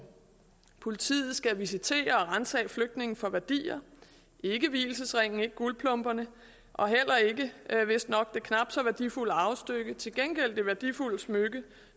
politiet skal visitere og ransage flygtninge for værdier ikke vielsesringene ikke guldplomberne og heller ikke vistnok det knap så værdifulde arvestykke til gengæld det værdifulde smykke